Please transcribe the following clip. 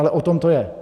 Ale o tom to je.